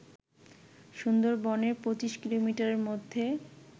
সুন্দরবনের ২৫ কিলোমিটারের মধ্যে